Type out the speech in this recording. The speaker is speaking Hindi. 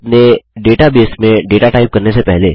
अपने डेटाबेस में डेटा टाइप करने से पहले